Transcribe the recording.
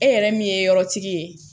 E yɛrɛ min ye yɔrɔ tigi ye